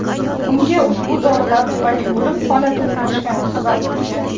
Bunga ushbu dorilar tufayli o‘lim holatining oshgani sabab bo‘lgan.